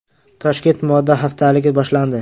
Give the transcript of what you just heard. Toshkent moda haftaligi boshlandi .